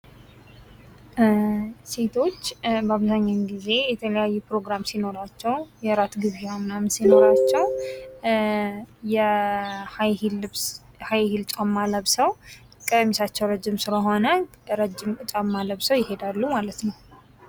ሴቶች በአብዛኛው ጊዜ የተለያዩ ፕሮግራም ሲኖራቸው፤ የእራት ግብዣ ምናምን ሲኖራቸው የሃይሂል ልብስ ሃይሂል ጫማ ለብሰው ቀሚሳቸው ረዥም ስለሆነ ረዥም ጫማ ለብሰው ይሄዳሉ ማለት ነው።